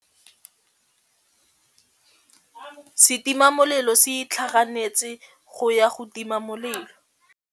Setima molelô se itlhaganêtse go ya go tima molelô.